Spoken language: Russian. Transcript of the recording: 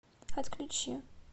отключи